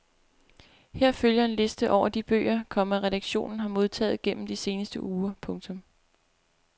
Her følger en liste over de bøger, komma redaktionen har modtaget gennem de seneste uger. punktum